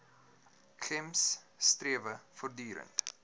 gems strewe voortdurend